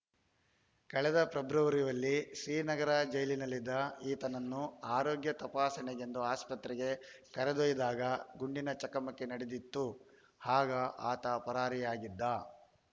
ಕಳೆದ ಫೆಬ್ರವರಿಯಲ್ಲಿ ಶ್ರೀನಗರ ಜೈಲಿನಲ್ಲಿದ್ದ ಈತನನ್ನು ಆರೋಗ್ಯ ತಪಾಸಣೆಗೆಂದು ಆಸ್ಪತ್ರೆಗೆ ಕರೆದೊಯ್ದಾಗ ಗುಂಡಿನ ಚಕಮಕಿ ನಡೆದಿತ್ತು ಆಗ ಆತ ಪರಾರಿಯಾಗಿದ್ದ